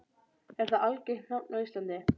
Er það algengt nafn á Íslandi?